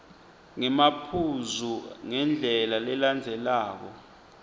ngemaphuzu ngendlela lelandzelelako